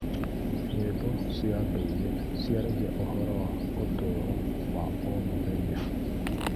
Nyĩmbo cia ndũire ciaragia ũhoro wa ũtũũro wa o mũthenya.